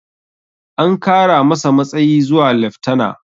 An kara masa matsayi zuwa leftana